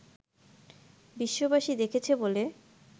বিশ্ববাসী দেখেছে বলে